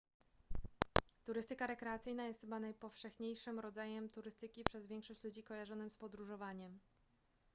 turystyka rekreacyjna jest chyba najpowszechniejszym rodzajem turystyki przez większość ludzi kojarzonym z podróżowaniem